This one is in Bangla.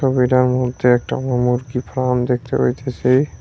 ছবিটার মধ্যে একটা মুরকি ফার্ম দেখতে পাইতাসি।